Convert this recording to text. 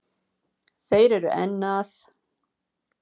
Þeir eru enn að